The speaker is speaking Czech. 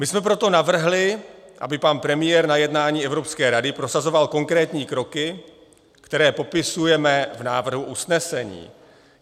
My jsme proto navrhli, aby pan premiér na jednání Evropské rady prosazoval konkrétní kroky, které popisujeme v návrhu usnesení.